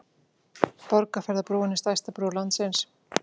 Borgarfjarðarbrúin er stærsta brú landsins.